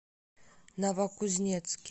новокузнецке